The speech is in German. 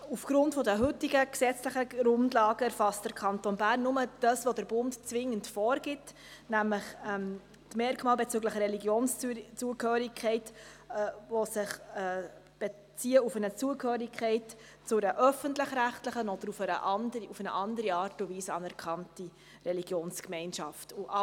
Aufgrund der heutigen gesetzlichen Grundlagen erfasst der Kanton Bern nur das, was der Bund zwingend vorgibt, nämlich die Merkmale bezüglich der Religionszugehörigkeit, die sich auf eine Zugehörigkeit zu einer öffentlich-rechtlichen oder zu einer auf andere Art und Weise anerkannten Religionsgemeinschaft beziehen.